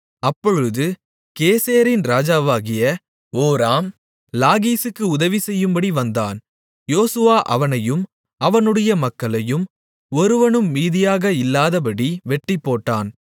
அப்பொழுது கேசேரின் ராஜாவாகிய ஓராம் லாகீசுக்கு உதவிசெய்யும்படி வந்தான் யோசுவா அவனையும் அவனுடைய மக்களையும் ஒருவனும் மீதியாக இல்லாதபடி வெட்டிப்போட்டான்